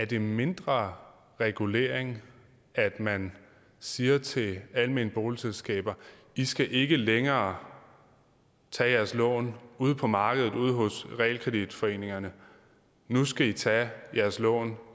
det mindre regulering at man siger til almene boligselskaber i skal ikke længere tage jeres lån ude på markedet ude hos realkreditforeningerne nu skal i tage jeres lån